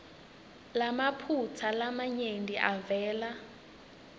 lamaphutsa lamanyenti avele